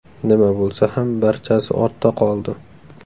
Nima bo‘lsa ham barchasi ortda qoldi.